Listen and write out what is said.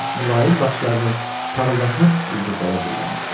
O öz mülayim baxışlarını parıldaşan ulduzlara zilləmişdi.